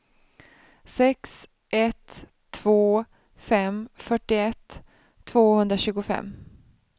sex ett två fem fyrtioett tvåhundratjugofem